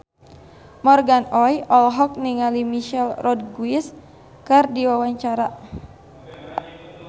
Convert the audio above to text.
Morgan Oey olohok ningali Michelle Rodriguez keur diwawancara